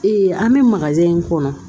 an bɛ in kɔnɔ